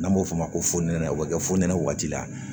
N'an b'o fɔ o ma ko fonɛnɛ o bɛ kɛ fuɛnɛ waati la